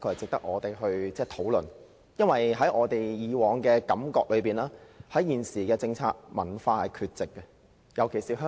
這個議題的確值得我們討論，因為我們以往的觀感是，文化在現行政策下是缺席的，尤其是在香港。